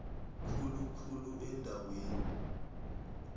khulu khulu eendaweni